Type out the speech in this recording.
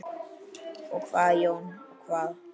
Og hvað Jón, og hvað?